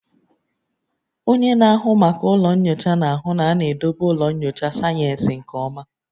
Onye na-ahụ maka ụlọ nyocha na-ahụ na a na-edobe ụlọ nyocha sayensị nke ọma